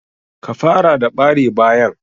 Ka fara da bare bayan.